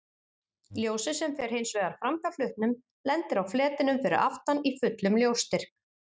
Ljósið sem fer hins vegar framhjá hlutnum lendir á fletinum fyrir aftan í fullum ljósstyrk.